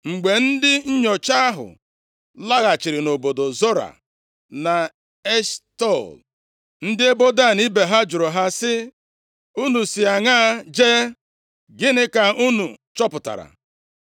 Mgbe ndị nnyocha ahụ laghachiri nʼobodo Zora na Eshtaol, ndị ebo Dan ibe ha jụrụ ha, sị, “Unu si aṅaa jee? Gịnị ka unu chọpụtara?”